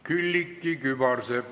Külliki Kübarsepp ...